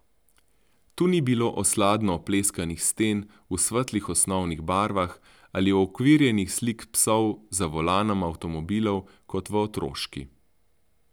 Tu ni bilo osladno opleskanih sten v svetlih osnovnih barvah ali uokvirjenih slik psov za volanom avtomobilov kot v Otroški.